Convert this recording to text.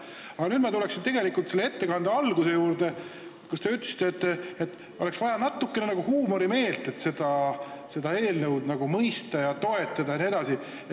Aga nüüd ma tulen ettekande alguse juurde, kui te ütlesite, et oleks vaja natukene huumorimeelt, et seda eelnõu mõista, toetada jne.